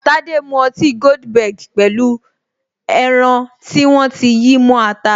Tade mu ọtí goldenberg pẹ̀lú pẹlu ẹran tí wọ́n ti yí mó ata